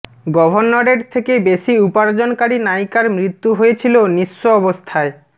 গভর্নরের থেকে বেশি উপার্জনকারী নায়িকার মৃত্যু হয়েছিল নিঃস্ব অবস্থায়